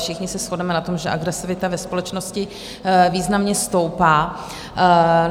Všichni se shodneme na tom, že agresivita ve společnosti významně stoupá.